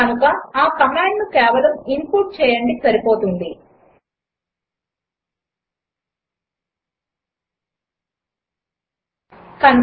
కనుక ఆ కమాండ్ను కేవలం ఇన్పుట్ చేయండి చాలు